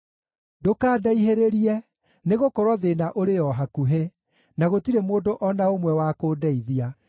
Ndũkandaihĩrĩrie, nĩgũkorwo thĩĩna ũrĩ o hakuhĩ, na gũtirĩ mũndũ o na ũmwe wa kũndeithia.